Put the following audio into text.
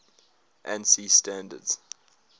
ansi standards